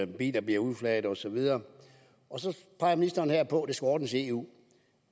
biler bliver udflaget osv og så peger ministeren her på at det skal ordnes i eu